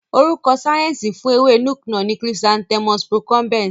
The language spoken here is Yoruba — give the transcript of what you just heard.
Orúkọ síẹ̀nsì fún ewé Nuke-Noh ni Chrysanthemum Procumbens.